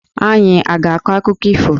Anyị a ga-akọ akụkọ ifo?